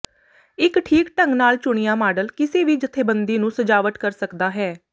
ਇੱਕ ਠੀਕ ਢੰਗ ਨਾਲ ਚੁਣਿਆ ਮਾਡਲ ਕਿਸੇ ਵੀ ਜਥੇਬੰਦੀ ਨੂੰ ਸਜਾਵਟ ਕਰ ਸਕਦਾ ਹੈ